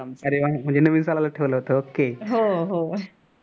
अरे वा म्हणजे नवीन सालाला च ठेवलं होत okay